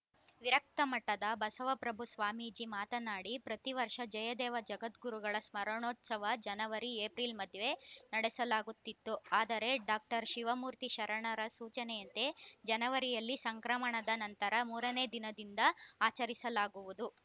ವಿರಕ್ತ ಮಠದ ಬಸವಪ್ರಭು ಸ್ವಾಮೀಜಿ ಮಾತನಾಡಿ ಪ್ರತಿ ವರ್ಷ ಜಯದೇವ ಜಗದ್ಗುರುಗಳ ಸ್ಮರಣೋತ್ಸವ ಜನವರಿಏಪ್ರಿಲ್‌ ಮಧ್ಯೆ ನಡೆಸಲಾಗುತ್ತಿತ್ತು ಆದರೆ ಡಾಕ್ಟರ್ ಶಿವಮೂರ್ತಿ ಶರಣರ ಸೂಚನೆಯಂತೆ ಜನವರಿಯಲ್ಲಿ ಸಂಕ್ರಮಣದ ನಂತರ ಮೂರನೇ ದಿನದಿಂದ ಆಚರಿಸಲಾಗುವುದು